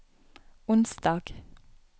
onsdag